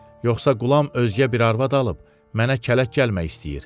Yoxsa qulam özgə bir arvad alıb mənə kələk gəlmək istəyir?